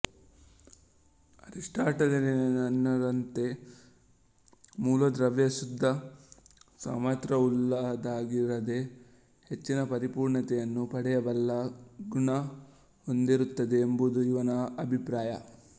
ಅರಿಸ್ಟಾಟಲಿಯನ್ನರಂತೆ ಮೂಲದ್ರವ್ಯ ಶುದ್ಧ ಸಾಮಥ್ರ್ಯವುಳ್ಳದ್ದಾಗಿರದೆ ಹೆಚ್ಚಿನ ಪರಿಪೂರ್ಣತೆಯನ್ನು ಪಡೆಯಬಲ್ಲ ಗುಣ ಹೊಂದಿರುತ್ತದೆ ಎಂಬುದು ಇವನ ಅಭಿಪ್ರಾಯ